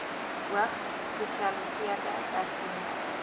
hoogs gespesialiseerde personeel